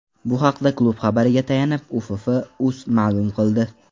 Bu haqda klub xabariga tayanib Uff.uz ma’lum qildi .